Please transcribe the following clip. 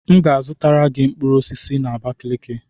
M ga-azụtara gị mkpụrụ osisi si n'Abakeleke.